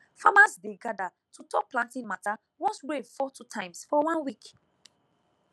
farmers dey gather to talk planting matter once rain fall two times for one week